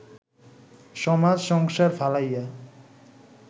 সমাজ সংসার ফালাইয়া